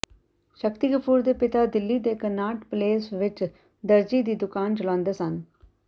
ਸ਼ਕਤੀ ਕਪੂਰ ਦੇ ਪਿਤਾ ਦਿੱਲੀ ਦੇ ਕਨਾਟ ਪਲੇਸ ਵਿੱਚ ਦਰਜ਼ੀ ਦੀ ਦੁਕਾਨ ਚਲਾਉਂਦੇ ਸਨ